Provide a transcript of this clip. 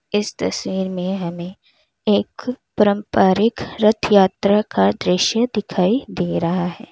इस तस्वीर में हमें एक पारंपरिक रथ यात्रा का दृश्य दिखाई दे रहा है।